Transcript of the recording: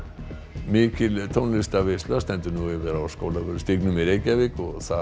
mikil tónlistarveisla stendur nú yfir á Skólavörðustíg í Reykjavík þar